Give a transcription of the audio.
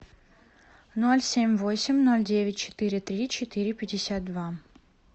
ноль семь восемь ноль девять четыре три четыре пятьдесят два